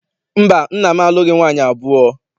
Mba, nna m alụghị nwaanyị abụọ.